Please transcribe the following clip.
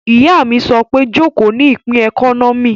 Ìyá mi sọ pé 'Jòkó ní ìpín ẹkọ́nọ́mì'